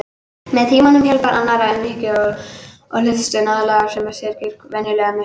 Með tímanum, hjálp annarra, umhyggju og hlustun aðlagast sá sem syrgir venjulega missinum.